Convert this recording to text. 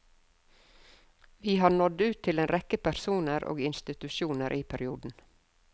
Vi har nådd ut til en rekke personer og institusjoner i perioden.